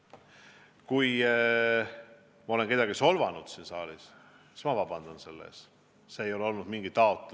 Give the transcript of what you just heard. Kui ma olen kedagi solvanud siin saalis, siis ma palun selle eest vabandust.